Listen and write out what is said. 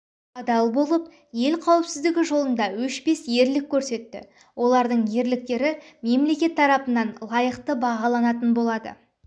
адал болып ел қауіпсіздігі жолында өшпес ерлік көрсетті олардың ерліктері мемлекет тарапынан лайықты бағаланатын болады